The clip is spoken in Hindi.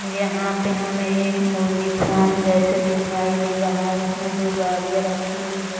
यहां पे हमें एक मुर्गी फॉर्म जैसे दिखाई दे रहा है उसमे दो गाड़िया रखी हुई है।